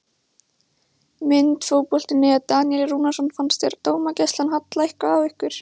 Mynd: Fótbolti.net- Daníel Rúnarsson Fannst þér dómgæslan halla eitthvað á ykkur?